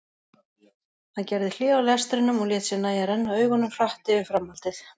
Hann gerði hlé á lestrinum og lét sér nægja að renna augunum hratt yfir framhaldið.